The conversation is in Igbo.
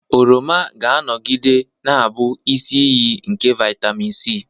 Oroma ga-anọgide na-abụ isi iyi nke vitamin C.